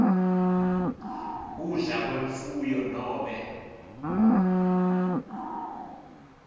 kudla kwemfuyo nobe